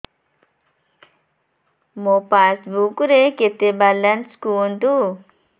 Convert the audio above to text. ମୋ ପାସବୁକ୍ ରେ କେତେ ବାଲାନ୍ସ କୁହନ୍ତୁ